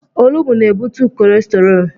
Olugbu na-ebutu kọlesterọọl.